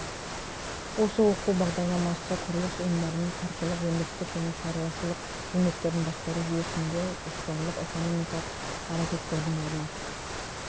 осы оқу бағдарламасы құрылыс ұйымдарының қаржылық өндірістік және шаруашылық қызметтерін басқару жүйесінде жоспарлық экономикалық әрекеттердің орны